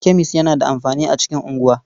Kemis yana da amfani a cikin unguwa.